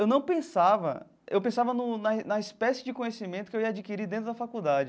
Eu não pensava... Eu pensava no na na espécie de conhecimento que eu ia adquirir dentro da faculdade.